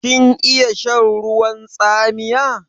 Kin iya shan ruwan tsamiya?